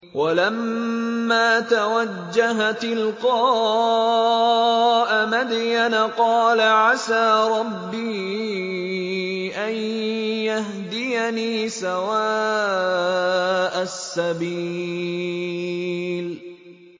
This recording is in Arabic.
وَلَمَّا تَوَجَّهَ تِلْقَاءَ مَدْيَنَ قَالَ عَسَىٰ رَبِّي أَن يَهْدِيَنِي سَوَاءَ السَّبِيلِ